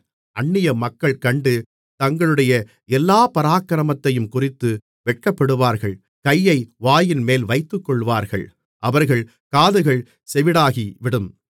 அந்நியமக்கள் கண்டு தங்களுடைய எல்லாப் பராக்கிரமத்தையுங்குறித்து வெட்கப்படுவார்கள் கையை வாயின்மேல் வைத்துக்கொள்வார்கள் அவர்கள் காதுகள் செவிடாகிவிடும்